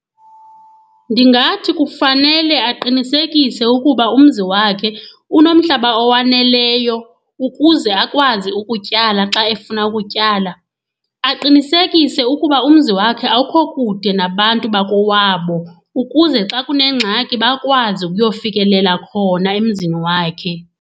Ndingathi kufanele aqinisekise ukuba umzi wakhe unomhlaba owaneleyo ukuze akwazi ukutyala xa efuna ukutyala. Aqinisekise ukuba umzi wakhe awukho kude nabantu bakowabo ukuze xa kunengxaki bakwazi ukuyofikelela khona emzini wakhe.